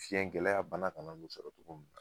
Fiyɛn gɛlɛya bana kana n'u sɔrɔ cogo min na